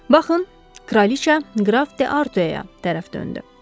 Baxın, kraliça Qraf de Artueya tərəf döndü.